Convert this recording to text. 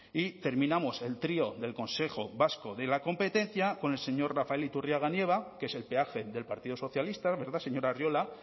y terminamos el trío del consejo vasco de la competencia con el señor rafael iturriaga nieva que es el peaje del partido socialista verdad señor arriola